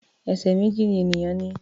Ẹsẹ̀ méjì ni ènìyàn ní.